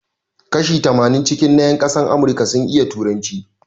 Kashi tamanin cikin na yan ƙasan Amurika sun iya turanci